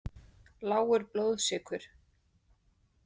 Lágur blóðsykur.